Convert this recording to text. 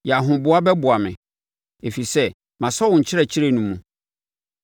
Yɛ ahoboa bɛboa me, ɛfiri sɛ masɔ wo nkyerɛkyerɛ no mu.